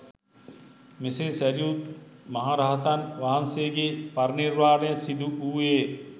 මෙසේ සැරියුත් මහ රහතන් වහන්සේගේ පරිනිර්වාණය සිදුවූයේ